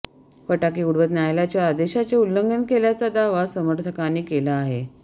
फटाके उडवत न्यायालयाच्या आदेशाचे उल्लंघन केल्याचा दावा समर्थकांनी केला आहे